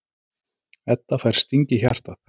Edda fær sting í hjartað.